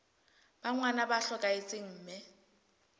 ba ngwana ba hlokahetse mme